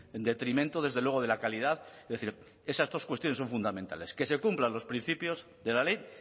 en detrimento desde luego de la calidad es decir esas dos cuestiones son fundamentales que se cumplan los principios de la ley